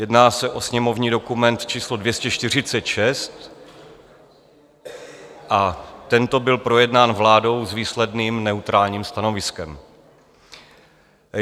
Jedná se o sněmovní dokument číslo 246 a tento byl projednán vládou s výsledným neutrálním stanoviskem.